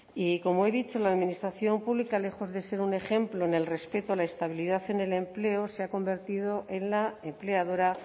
y como he dicho la administración pública lejos de ser un ejemplo en el respeto a la estabilidad en el empleo se ha convertido en la empleadora